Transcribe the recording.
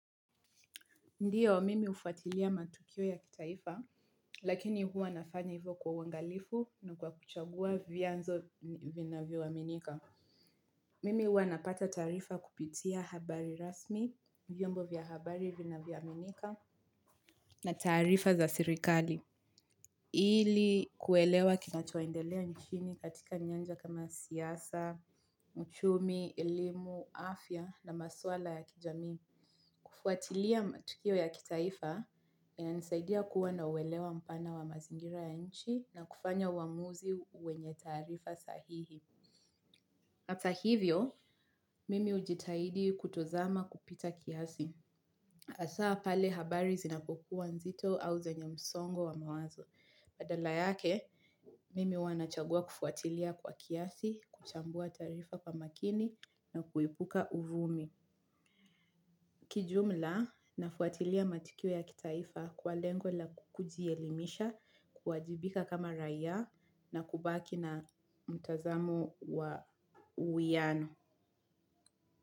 Ndiyo, mimi hufuatilia matukio ya kitaifa, lakini huwa nafanya hivyo kwa uangalifu na kwa kuchagua vianzo vinavyoaminika. Mimi huwa napata taarifa kupitia habari rasmi, vyombo vya habari vinavyo aminika na taarifa za serikali. Ili kuelewa kinachoendelea nchini katika nyanja kama siasa, uchumi, elimu, afya na maswala ya kijami. Kufuatilia matukio ya kitaifa yananisaidia kuwa na uelewa mpana wa mazingira ya nchi na kufanya uamuzi wenye taarifa sahihi. Hata hivyo mimi hujitahidi kutozama kupita kiasi hasa pale habari zinapokuwa nzito au zenye msongo wa mawazo. Badala yake, mimi huwa nachagua kufuatilia kwa kiasi, kuchambua taarifa kwa makini na kuepuka uvumi. Kiujumla nafuatilia matukio ya kitaifa kwa lengo la kujielimisha kuwajibika kama raia na kubaki na uwiano.